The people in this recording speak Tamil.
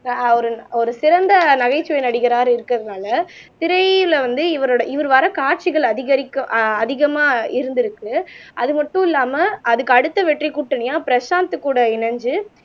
ஆஹ் ஒரு சிறந்த நகைச்சுவை நடிகராக இருக்கறதுனால திரையில வந்து, இவரோட இவர் வர்ற காட்சிகள் அதிகரிக்க ஆஹ் அதிகமா இருந்திருக்கு அது மட்டும் இல்லாம அதுக்கு அடுத்த வெற்றி கூட்டணியா பிரசாந்த் கூட இணைஞ்சு